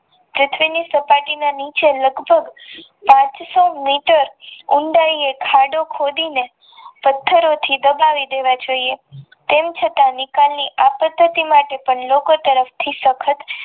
પૃથ્વીની સપાટી ના નીચે લગભગ સાતસો મીટર અંદર ખાડો ખોદીને પથ્થરે થી દબાવી દેવા જોઇએ તેમ છતાં વિકાની આપતી લોકો તરફથી સખત